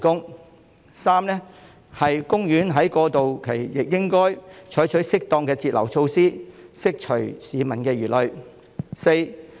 第三，海洋公園在過渡期亦應採取適當的截流措施，釋除市民的疑慮。